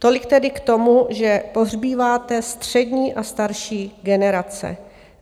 Tolik tedy k tomu, že pohřbíváte střední a starší generace.